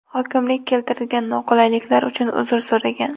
Hokimlik keltirilgan noqulayliklar uchun uzr so‘ragan.